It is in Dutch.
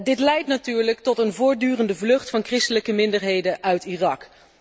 Dit leidt natuurlijk tot een voortdurende vlucht van christelijke minderheden uit Irak.